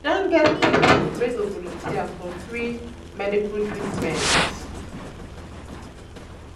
we um don get pipo wey go volunteer for free medical treatment. um